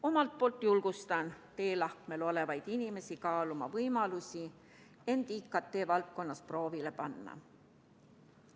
Omalt poolt julgustan teelahkmel olevaid inimesi kaaluma võimalusi end IKT-valdkonnas proovile panna.